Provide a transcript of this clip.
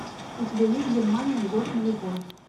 у тебя есть германия год нулевой